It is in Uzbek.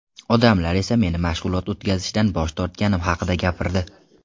Odamlar esa meni mashg‘ulot o‘tkazishdan bosh tortganim haqida gapirdi.